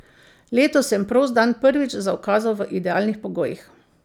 Letos sem prost dan prvič zaukazal v idealnih pogojih.